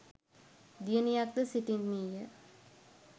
දියණියක්ද සිටින්නීය